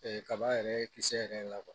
kaba yɛrɛ kisɛ yɛrɛ la